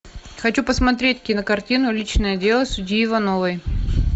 хочу посмотреть кинокартину личное дело судьи ивановой